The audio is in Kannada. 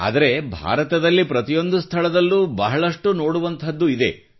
ಆದರೆ ಭಾರತದಲ್ಲಿ ಪ್ರತಿಯೊಂದು ಸ್ಥಳದಲ್ಲೂ ಬಹಳಷ್ಟು ನೋಡುವಂಥದ್ದು ಇದೆ